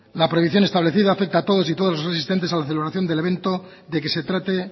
la prohibición establecida afecta a todas y todos los asistentes a la celebración del evento de que se trate